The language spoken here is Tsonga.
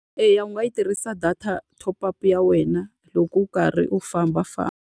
Eya u nga yi tirhisa top up ya wena loko u karhi u fambafamba.